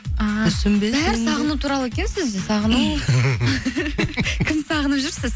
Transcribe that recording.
а бәрі сағыну туралы екен сізде сағыну кімді сағынып жүрсіз